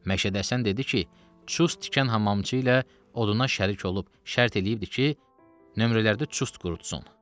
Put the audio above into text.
Məşəd Həsən dedi ki, çust tikən hamamçı ilə oduna şərik olub, şərt eləyibdir ki, nömrələrdə çust qurutusun.